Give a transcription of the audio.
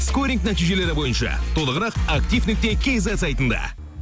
скоринг нәтижелері бойынша толығырық актив нүкте кизет сайтында